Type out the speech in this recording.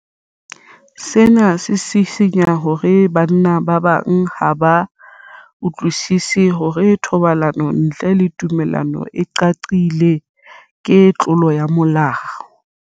Sena se sisinya hore banna ba bang ha ba utlwisisi hore thobalano ntle le tumello e qaqileng ke tlolo ya molao.